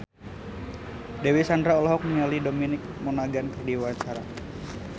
Dewi Sandra olohok ningali Dominic Monaghan keur diwawancara